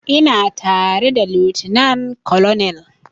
Ina tare da lieutenant colonel